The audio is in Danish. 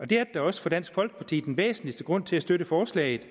det er da også for dansk folkeparti den væsentligste grund til at støtte forslaget